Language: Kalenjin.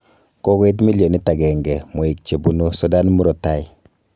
Kokoit millionit agenge mweik chebunu Sudan murotai